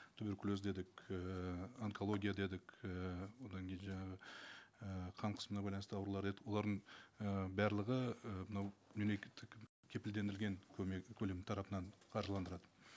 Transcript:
туберкулез дедік ііі онкология дедік ііі одан кейін жаңағы і қан қысымына байланысты аурулар дедік олардың ііі барлығы і мынау мемлекеттік кепілдендірілген көмек көлемнің тарапынан қаржыландырылады